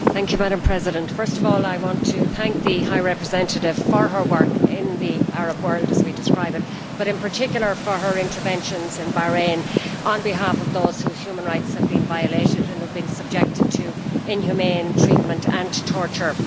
Madam President, first of all I want to thank the High Representative for her work in the Arab world, as we describe it, but in particular for her interventions in Bahrain on behalf of those whose human rights have been violated and who have been subjected to inhumane treatment and torture.